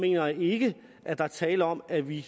jeg ikke at der er tale om at vi